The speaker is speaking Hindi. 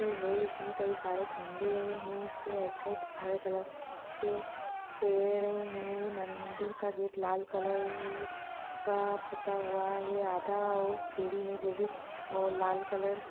है इसमें कई सारे खंभे हैं इसके आइड साइड हरे कलर के पेड़ हैं मंदिर का गेट लाल कलर र र का पुता हुआ है आधा और सीढ़ी है जो भी ओ लाल कलर से --